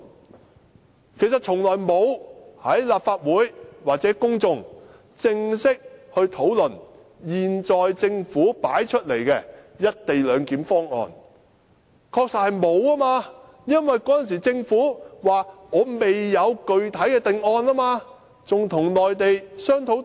其實，政府從來沒有與立法會或公眾作正式討論，它確實沒有討論過現時提出來的"一地兩檢"方案，因為當時政府表示未有具體定案，仍與內地商討中。